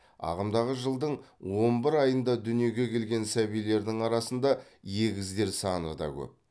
ағымдағы жылдың он бір аиында дүниеге келген сәбилердің арасында егіздер саны да көп